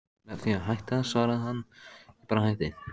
Með því að hætta, svaraði hann: Ég bara hætti.